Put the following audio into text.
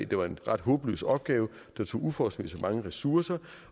det var en ret håbløs opgave der tog uforholdsmæssig mange ressourcer